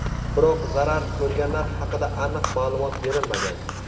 Biroq zarar ko‘rganlar haqida aniq ma’lumot berilmagan.